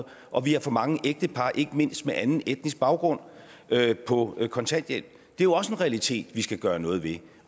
og vi har for mange ægtepar ikke mindst med anden etnisk baggrund på kontanthjælp det er også en realitet vi skal gøre noget ved